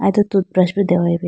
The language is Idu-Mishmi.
atu tooth brush bi dehoyi bi.